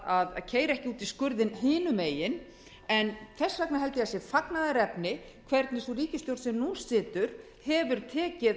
að keyra ekki út í skurðinn hinum megin en þess vegna held ég að það sé fagnaðarefni hvernig sú ríkisstjórn sem nú situr hefur tekið